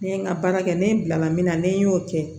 Ne ye n ka baara kɛ ne bilala min na ne y'o kɛ